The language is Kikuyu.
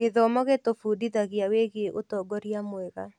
Gĩthomo gĩtũbundithagia wĩgiĩ ũtongoria mwega.